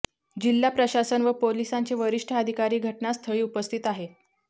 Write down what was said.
जिल्हा प्रशासन व पोलिसांचे वरिष्ठ अधिकारी घटनास्थळी उपस्थित आहेत